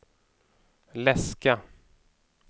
läska